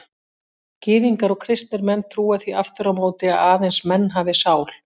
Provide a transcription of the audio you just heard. Gyðingar og kristnir menn trúa því aftur á móti að aðeins menn hafi sál.